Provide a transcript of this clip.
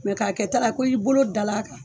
k'a kɛ ta la ko i bolo da l'a kan.